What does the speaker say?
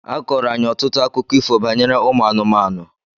A kọọrọ anyị ọtụtụ akụkọ ifo banyere ụmụ anụmanụ.